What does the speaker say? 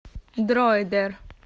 дроидер